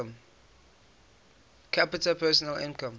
capita personal income